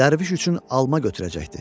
dərviş üçün alma gətirəcəkdi.